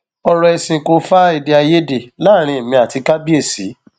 ọrọ ẹsìn kò fa èdèàìyedè láàrin èmi àti kábíésì